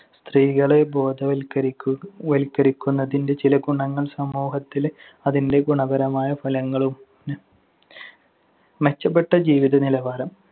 സ്ത്രീകളെ ബോധവൽക്കരിക്കു വല്‍ക്കരിക്കുന്നതിന്‍റെ ചില ഗുണങ്ങൾ സമൂഹത്തിൽ അതിന്‍റെ ഗുണപരമായ ഫലങ്ങളും. മെച്ചപ്പെട്ട ജീവിത നിലവാരം.